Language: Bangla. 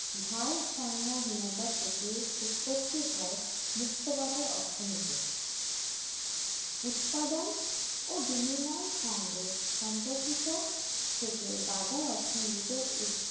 ভারসাম্য হীনতা থেকে উৎপত্তি হয় মুক্তবাজার অর্থনৈতিক উৎপাদন ও বিনিময়ে সঙ্গে সম্পর্কিত থেকে বাজার অর্থনীতিতে